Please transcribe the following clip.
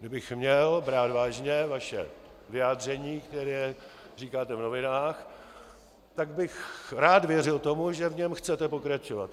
Kdybych měl brát vážně vaše vyjádření, která říkáte v novinách, tak bych rád věřil tomu, že v něm chcete pokračovat.